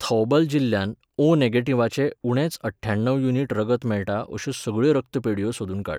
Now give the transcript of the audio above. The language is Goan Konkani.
थौबल जिल्ल्यांत ओ नेगेटिव्हाचें उणेच अठ्ठावन्न युनिट रगत मेळटा अश्यो सगळ्यो रक्तपेढयो सोदून काड.